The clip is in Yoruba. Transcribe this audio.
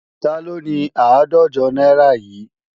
Taló ni àádọ́jọ náírà yìí?